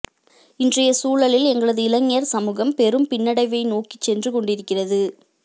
இன்றைய சூழலில் எங்களது இளைஞர் சமூகம் பெரும் பின்னடைவை நோக்கிச் சென்றுகொண்டிருக்கிறது